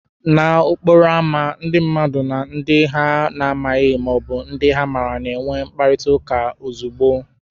N'okporo ámá, ndị mmadụ na ndị ha na-amabughị ma ọ bụ ndị ha maara na-enwe mkparịta ụka ozugbo.